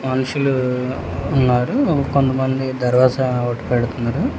మనుషులు ఉన్నారు కొంతమంది దర్వాజా పెడుతున్నారు.